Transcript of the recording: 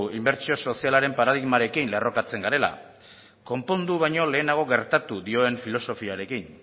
inbertsio sozialaren paradigmarekin lerrokatzen garela konpondu baino lehenago gertatu dioen filosofiarekin